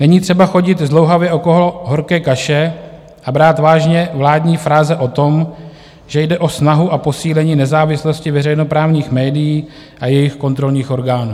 Není třeba chodit zdlouhavě okolo horké kaše a brát vážně vládní fráze o tom, že jde o snahu a posílení nezávislosti veřejnoprávních médií a jejich kontrolních orgánů.